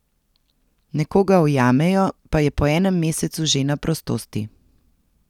Nekoga ujamejo, pa je po enem mesecu že na prostosti.